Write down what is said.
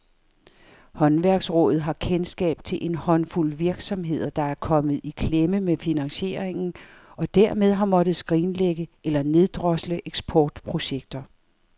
Håndværksrådet har kendskab til en håndfuld virksomheder, der er kommet i klemme med finansieringen og dermed har måttet skrinlægge eller neddrosle eksportprojekter.